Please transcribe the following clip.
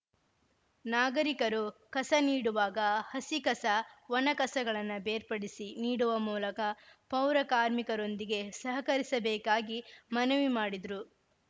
ನಾಗರಿಕರು ಕಸ ನೀಡುವಾಗ ಹಸಿ ಕಸ ಒಣ ಕಸಗಳನ್ನ ಬೇರ್ಪಡಿಸಿ ನೀಡುವ ಮೂಲಕ ಪೌರಕಾರ್ಮಿಕರೊಂದಿಗೆ ಸಹಕರಿಸಬೇಕಾಗಿ ಮನವಿ ಮಾಡಿದ್ರು